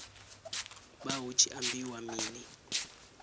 vha hu tshi ambiwa mini